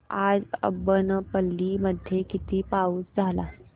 आज अब्बनपल्ली मध्ये किती पाऊस झाला